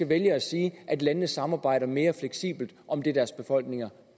vælge at sige at landene samarbejder mere fleksibelt om det deres befolkninger